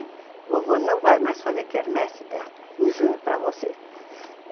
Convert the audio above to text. O vovô não vai mais fazer quermesse da em junho para você.